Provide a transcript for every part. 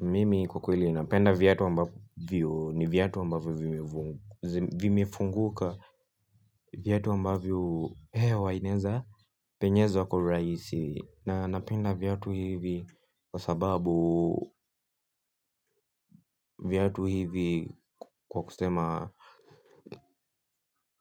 Mimi kwa kweli inapenda viatu wambavyo ni viyatu ambavyo vimifunguka. Viatu ambavyo hewa ineza penyeza kwa uraisi na napenda viatu hivi kwa sababu viyatu hivi kwa kusema.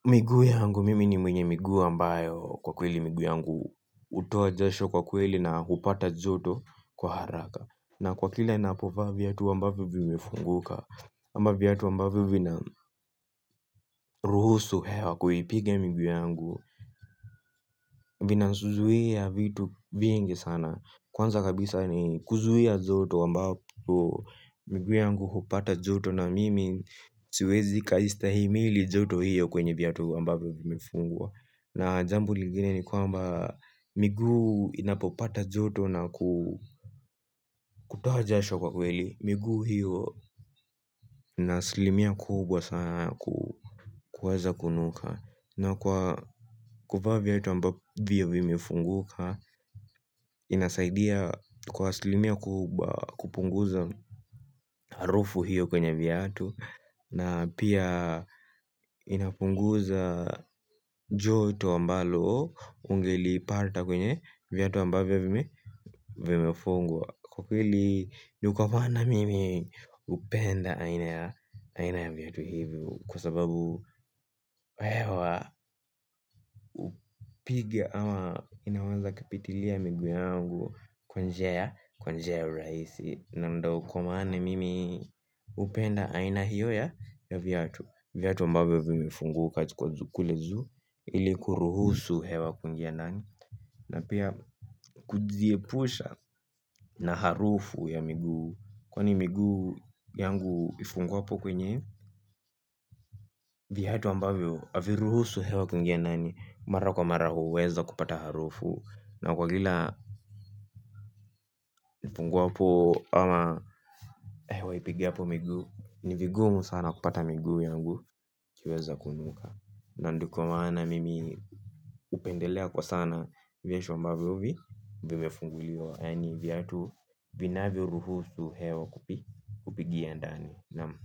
Miguu yangu mimi ni mwenye miguu ambayo kwa kweli miguu yangu utoa jasho kwa kweli na hupata joto kwa haraka na kwa kila ninapova viyatu ambavyo vimifunguka ama viyatu ambavyo vina ruhusu hewa kuipige miguu yangu. Vina suzuia vitu vingi sana kwanza kabisa ni kuzuia joto wambavo miguu yangu hupata joto na mimi. Siwezi kaistahimili joto hiyo kwenye viyatu ambavyo vimifungwa. Na jambo ligine ni kwamba miguu yangu inapopata joto na kutoha jashwa kwa kweli. Miguu hio nasilimia kubwa sana kuweza kunuka. Na kwa kuvaa viyatu ambavyo vimifunguka. Inasaidia kwa aslimia kubwa kupunguza harufu hiyo kwenye viyatu na pia inapunguza joto ambalo unge liipata kwenye viyatu ambavyo vimefungua. Kwa kili nukawana mimi upenda aina ya viyatu hivyo kwa sababu hewa piga ama inaweza kapitilia miguu yangu kwa njia ya urahisi na ndo kwa maana mimi upenda aina hiyo ya ya viyatu. Viyatu ambavyo vimifunguka kwa kule juu ili kuruhusu hewa kwingia ndani na pia kudziepusha na harufu ya miguu kwani miguu yangu ifungwapo kwenye viyatu ambavyo aviruhusu hewa kwingie ndani. Mara kwa mara huweza kupata harufu. Na kwa gila nifungwapo ama hewa ipigapo miguu. Nivigumu sana kupata miguu yangu. Kiweza kunuka. Na nduko maana mimi upendelea kwa sana. Vyashu ambavyo vi. Vimefunguliwa. Yani vyatu vinavyo ruhusu hewa kupigia ndani Naam.